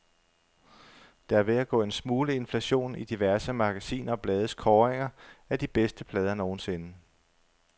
Der er ved at gå en smule inflation i diverse magasiner og blades kåringer af de bedste plader nogensinde.